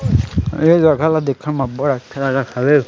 ए जगह ला देखे म अब्बड़ अच्छा लगत हवे।